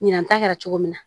Ɲinan ta kɛra cogo min na